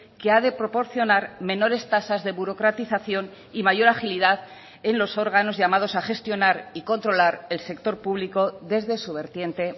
que ha de proporcionar menores tasas de burocratización y mayor agilidad en los órganos llamados a gestionar y controlar el sector público desde su vertiente